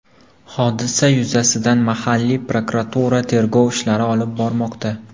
Hodisa yuzasidan mahalliy prokuratura tergov ishlari olib bormoqda.